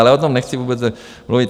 Ale o tom nechci vůbec mluvit.